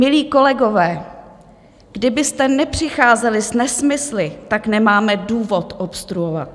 Milí kolegové, kdybyste nepřicházeli s nesmysly, tak nemáme důvod obstruovat.